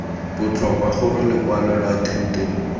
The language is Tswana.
botlhokwa gore lokwalo lwa thuto